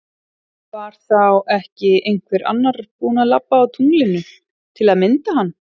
Var þá ekki einhver annar búin að labba á tunglinu til að mynda hann?